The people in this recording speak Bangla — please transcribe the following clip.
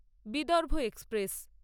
বিদর্ভ এক্সপ্রেস